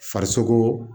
Farisokoo